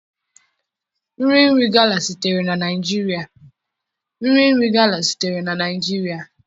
Nri nri gala sitere na Naijiria.